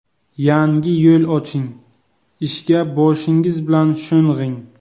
Yangi yo‘l oching, ishga boshingiz bilan sho‘ng‘ing.